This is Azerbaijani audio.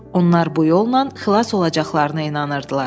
Onlar bu yolla xilas olacaqlarına inanırdılar.